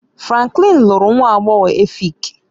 Franklin lụrụ nwa agbọghọ Efik